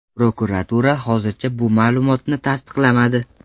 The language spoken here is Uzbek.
Prokuratura hozircha bu ma’lumotni tasdiqlamadi.